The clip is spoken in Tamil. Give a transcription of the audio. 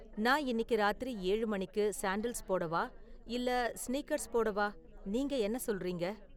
நான் இன்னிக்கு ராத்திரி ஏழு மணிக்கு சாண்டல்ஸ் போடவா இல்ல ஸ்னீக்கர்ஸ் போடவா, நீங்க என்ன சொல்றீங்க